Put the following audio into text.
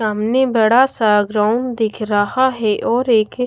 सामने बड़ा सा ग्राउंड दिख रहा है और एक--